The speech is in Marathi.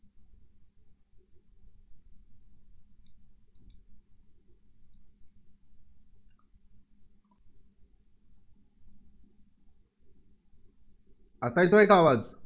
आता येतोय का आवाज?